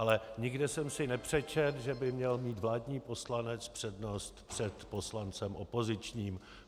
Ale nikde jsem si nepřečetl, že by měl mít vládní poslanec přednost před poslancem opozičním.